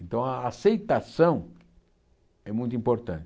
Então a aceitação é muito importante.